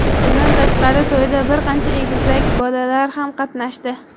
Bundan tashqari to‘yda bir qancha egizak bolalar ham qatnashdi.